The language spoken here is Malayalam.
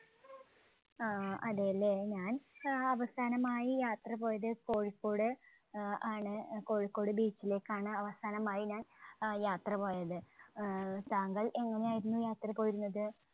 ആഹ് അതേല്ലേ. ഞാൻ ആഹ് അവസാനമായി യാത്രപോയത് കോഴിക്കോട് ആഹ് ആണ്. അഹ് കോഴിക്കോട് beach ലേക്കാണ് അവസാനമായി ഞാൻ അഹ് യാത്ര പോയത്. ആഹ് താങ്കൾ എങ്ങനെയായിരുന്നു യാത്ര പോയിരുന്നത്?